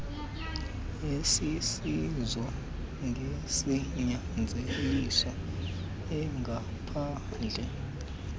esisiso ngesinyanzeliso engaphandle